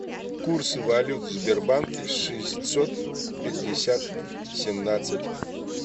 курсы валют в сбербанке шестьсот пятьдесят семнадцать